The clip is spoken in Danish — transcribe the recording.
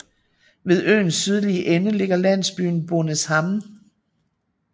Ved søens sydlige ende ligger landsbyen Bonäshamn